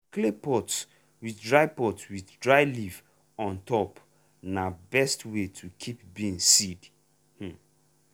clay pot with dry pot with dry leaf on top na best way to keep beans seed. um